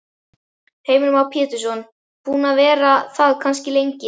Heimir Már Pétursson: Búin að vera það kannski lengi?